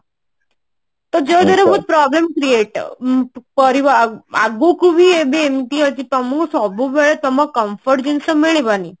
ତ ଯୋଉ ଦ୍ଵାରା କି problem create ଉଁ ପଡିବ ଆଗକୁ ହିଁ ଏବେ ଏମତି ଅଛି ତମକୁ ସବୁବେଳେ ତମ comfort ଜିନିଷ ମିଳିବନି